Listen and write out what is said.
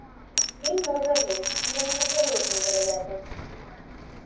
им можно верить и я не нахожу это невероятным